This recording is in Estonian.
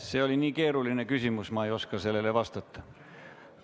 See oli nii keeruline küsimus, et ma ei oska sellele vastata.